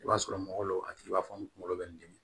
I b'a sɔrɔ mɔgɔ dɔ a tigi b'a fɔ ngolo bɛ n dimi